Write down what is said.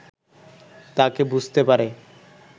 তাকে বুঝতে পারে